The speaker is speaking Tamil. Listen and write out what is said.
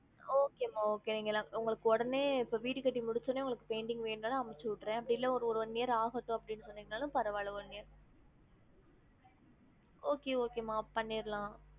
Okay மா okay நிங்கல்லாம் உங்களுக்குவுடனே இப்ப வீடு கட்டி முடிச்ச வுடனே உங்களுக்கு painting வேணும் நாளும் அனுப்ச்சி விட்டுரேன் அப்டி இல்ல ஒரு one year ஆகட்டும் அப்டின்னு சொன்னிங்க நாளும் பரவாயில்ல one year okay மா okay okay மா பண்ணிறலாம்